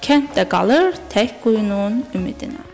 Kənd də qalır tək quyunun ümidinə.